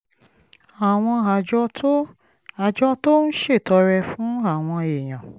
àwọn àjọ tó àjọ tó ń ṣètọrẹ fún àwọn èèyàn